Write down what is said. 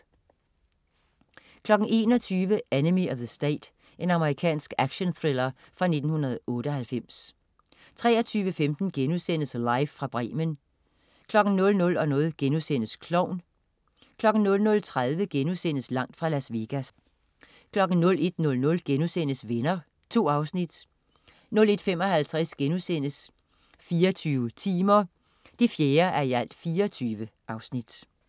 21.00 Enemy of the State. Amerikansk actionthriller fra 1998 23.15 Live fra Bremen* 00.00 Klovn* 00.30 Langt fra Las Vegas* 01.00 Venner.* 2 afsnit 01.55 24 timer 4:24*